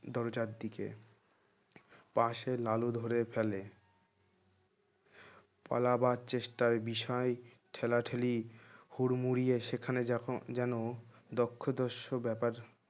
দরজার দিকে পাশে লালু ধরে ফেলে পালাবার চেষ্টায় বিষয় ঠেলাঠেলি হুড়মুড়িয়ে সেখানে যখন যেন দক্ষ-দর্শ ব্যাপার